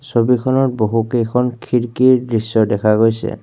ছবি খনত বহুত কেইখন খিৰকিৰ দৃশ্য দেখা গৈছে।